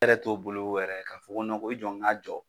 bolo yɛrɛ n ko i jɔ n k'a jɔ.